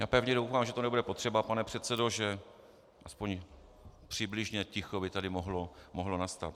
Já pevně doufám, že to nebude potřeba, pane předsedo, že aspoň přibližně ticho by tady mohlo nastat.